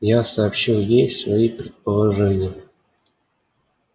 я сообщил ей свои предположения